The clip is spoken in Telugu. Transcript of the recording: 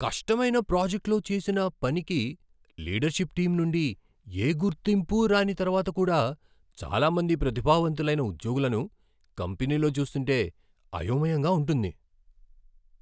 కష్టమైన ప్రాజెక్ట్లో చేసిన పనికి లీడర్షిప్ టీం నుండి ఏ గుర్తింపూ రాని తర్వాత కూడా చాలా మంది ప్రతిభావంతులైన ఉద్యోగులను కంపెనీలో చూస్తుంటే అయోమయంగా ఉంటుంది.